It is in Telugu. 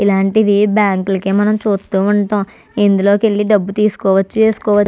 ఇలాంటివి బ్యాంకు లో మనం చూస్తూ వుంటాం. ఇందులో నుండి మనం డబుల్లు తీసుకోవచ్చు వేసుకోవాచు.